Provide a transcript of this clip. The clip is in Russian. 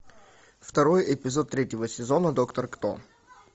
второй эпизод третьего сезона доктор кто